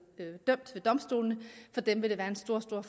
domstolene vil det være en stor stor